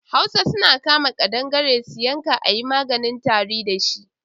Hausa suna kama ƙadangare su yanka a yi maganin tari da shi.